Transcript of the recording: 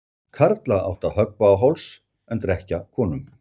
Karla átti að höggva á háls en drekkja konum.